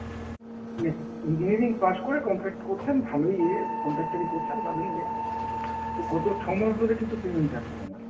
মানে engineering pass করে contract করছেন, ভালোই ইয়ে, contractor ই করছেন ভালোই ইয়ে। গত ছ'মাস ধরে কিন্তু payment আটকে ওনার।